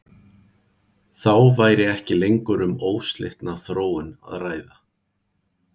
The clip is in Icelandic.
Þá væri ekki lengur um óslitna þróun að ræða.